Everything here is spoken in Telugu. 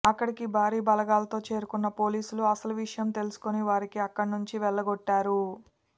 అక్కడికి భారీ బలగాలతో చేరుకున్న పోలీసులు అసలు విషయం తెలుసుకుని వారిని అక్కడినుండి వెళ్లగొట్టారు